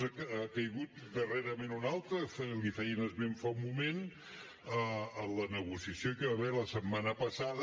n’ha caigut darrerament un altre li’n feien esment fa un moment a la negociació que hi va haver la setmana passada